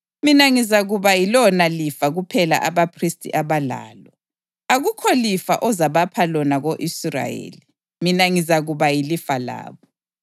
Mina ngizakuba yilona lifa kuphela abaphristi abalalo. Akukho lifa ozabapha lona ko-Israyeli; mina ngizakuba yilifa labo.